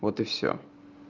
вот и всё